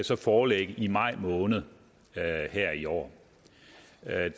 så foreligge i maj måned her i år